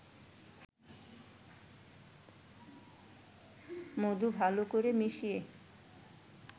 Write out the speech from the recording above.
মধু ভালো করে মিশিয়ে